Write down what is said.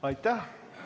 Aitäh!